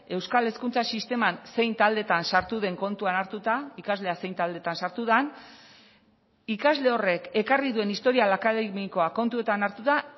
euskal hezkuntza sisteman zein taldetan sartu den kontuan hartuta ikaslea zein taldetan sartu den ikasle horrek ekarri duen historial akademikoa kontutan hartuta